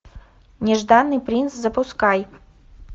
нежданный принц запускай